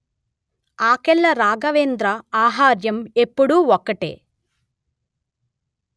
ఆకెళ్ల రాఘవేంద్ర ఆహార్యం ఎపుడూ ఒకటే